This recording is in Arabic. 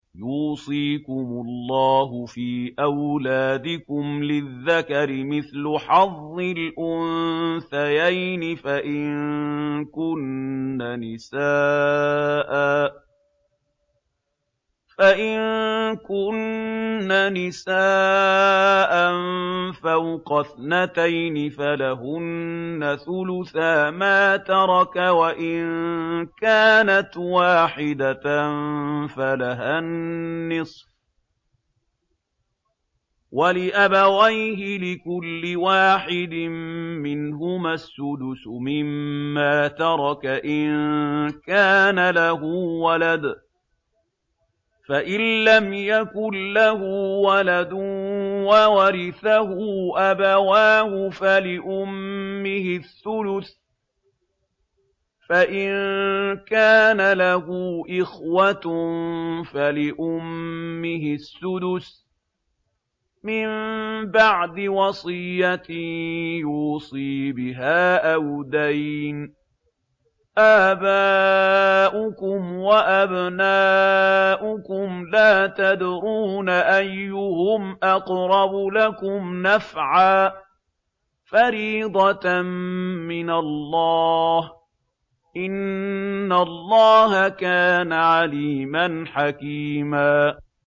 يُوصِيكُمُ اللَّهُ فِي أَوْلَادِكُمْ ۖ لِلذَّكَرِ مِثْلُ حَظِّ الْأُنثَيَيْنِ ۚ فَإِن كُنَّ نِسَاءً فَوْقَ اثْنَتَيْنِ فَلَهُنَّ ثُلُثَا مَا تَرَكَ ۖ وَإِن كَانَتْ وَاحِدَةً فَلَهَا النِّصْفُ ۚ وَلِأَبَوَيْهِ لِكُلِّ وَاحِدٍ مِّنْهُمَا السُّدُسُ مِمَّا تَرَكَ إِن كَانَ لَهُ وَلَدٌ ۚ فَإِن لَّمْ يَكُن لَّهُ وَلَدٌ وَوَرِثَهُ أَبَوَاهُ فَلِأُمِّهِ الثُّلُثُ ۚ فَإِن كَانَ لَهُ إِخْوَةٌ فَلِأُمِّهِ السُّدُسُ ۚ مِن بَعْدِ وَصِيَّةٍ يُوصِي بِهَا أَوْ دَيْنٍ ۗ آبَاؤُكُمْ وَأَبْنَاؤُكُمْ لَا تَدْرُونَ أَيُّهُمْ أَقْرَبُ لَكُمْ نَفْعًا ۚ فَرِيضَةً مِّنَ اللَّهِ ۗ إِنَّ اللَّهَ كَانَ عَلِيمًا حَكِيمًا